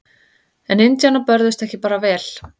En indjánar börðust ekki bara vel.